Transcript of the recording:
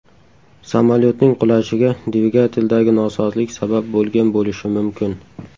Samolyotning qulashiga dvigateldagi nosozlik sabab bo‘lgan bo‘lishi mumkin.